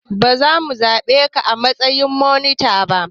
Ba za mu zaɓe ka a matsayin monita ba.